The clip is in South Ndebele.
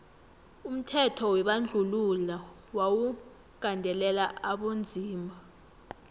umthetho webandluhilo wawu gandelela abonzima